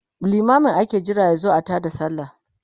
limamin ake Jira yazo a taada sallah